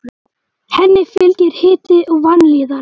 Henni fylgir hiti og vanlíðan.